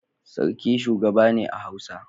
Sarki shugaba ne a hausa.